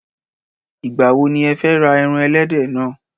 Ìgbà wo ni ẹ fẹ ra ẹran ẹlẹ́dẹ̀ náà?